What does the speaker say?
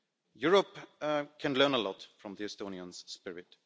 Europe can learn a lot from the Estonians' spirit.